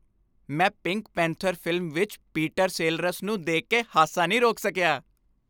ਮੈਂ Pink Panther film ਵਿੱਚ Peter Sellers ਨੂੰ ਦੇਖ ਕੇ ਹਾਸਾ ਨਹੀਂ ਰੋਕ ਸਕਿਆ।